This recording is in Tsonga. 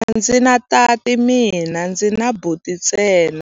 A ndzi na tati mina, ndzi na buti ntsena.